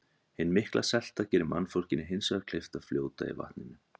Hin mikla selta gerir mannfólkinu hins vegar kleyft að fljóta í vatninu.